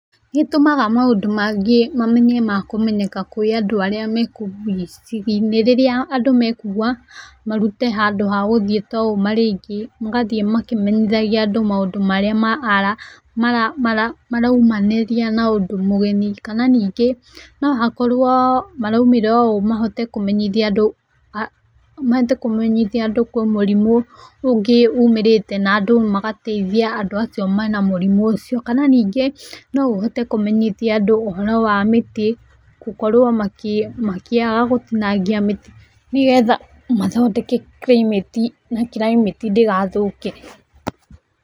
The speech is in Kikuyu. Nĩ ũtũmaga maũndũ mangĩ mamenye ma kũmenyeka kũĩ andũ arĩa mekũu icagi-inĩ rĩrĩra andũ mekuga marute handũ ha gũthiĩ ta ũũ marĩ aingĩ, magathiĩ makĩmenyithagia andũ maũndũ marĩa maraumanĩria na ũndũ mũgeni. Kana ningĩ no hakorwo maraumĩra ũũ mahote kũmenyithia andũ, mahote kũmenyithia andũ kwĩ mũrimũ ũngĩ ũmĩrĩte. Na andũ magateithia andũ acio mena mũrimũ ũcio. Kana ningĩ no ũhote kũmenyithia andũ ũhoro wa mĩtĩ gũkorwo makĩaga gũtinangia mĩtĩ nĩgetha mathondeke climate na, climate ndĩgathũke.